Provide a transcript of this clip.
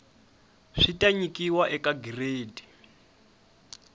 swi ta nyikiwa eka giredi